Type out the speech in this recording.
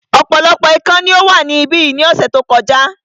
Ọ̀pọ̀lọpọ̀ ikán ni ó wà ní ibí yìí ní ọ̀sẹ̀ tí ó kọjá